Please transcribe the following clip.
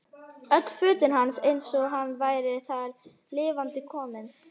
Öll fötin hans eins og hann væri þar lifandi kominn.